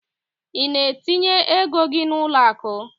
I na etinye égo gị n'uloaku?